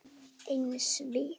Eins við